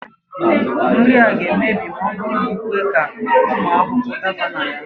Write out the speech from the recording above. Nri a ga-emebi ma ọ bụrụ na i kwe ka ụmụ ahụhụ daba na ha